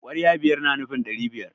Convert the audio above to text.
kwarya biyar na nufin dari biyar